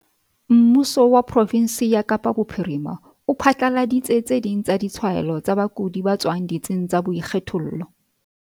Mmuso wa profensi ya Kapa Bophirima o phatlaladitse tse ding tsa ditshwaelo tsa bakudi ba tswang ditsing tsa boikgethollo.